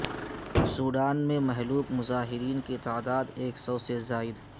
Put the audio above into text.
Sudan میں مہلوک مظاہرین کی تعداد ایک سو سے زائد